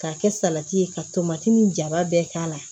K'a kɛ salati ye ka tomati ni jaba bɛɛ k'a la